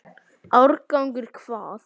Árangur hvað?